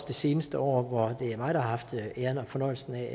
det seneste år hvor det er mig der har haft æren og fornøjelsen af at